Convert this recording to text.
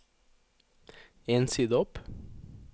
En side opp